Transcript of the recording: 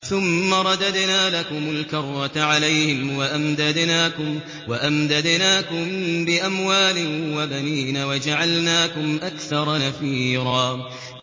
ثُمَّ رَدَدْنَا لَكُمُ الْكَرَّةَ عَلَيْهِمْ وَأَمْدَدْنَاكُم بِأَمْوَالٍ وَبَنِينَ وَجَعَلْنَاكُمْ أَكْثَرَ نَفِيرًا